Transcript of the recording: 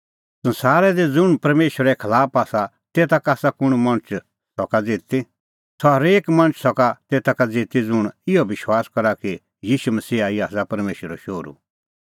संसारा दी ज़ुंण परमेशरे खलाफ आसा तेता का कुंण मणछ सका ज़िती सह हरेक मणछ सका तेता का ज़िती ज़ुंण इहअ विश्वास करा कि ईशू मसीहा ई आसा परमेशरो शोहरू